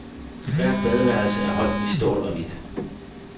Hvert badeværelse er holdt i stål og hvidt.